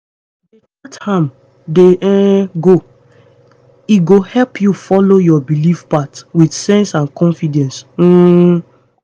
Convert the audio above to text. dey chart am dey um go. e go help you follow your belief path with sense and confidence. um